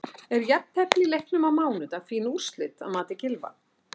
Er jafntefli í leiknum á mánudag fín úrslit að mati Gylfa?